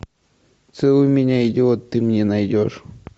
целуй меня идиот ты мне найдешь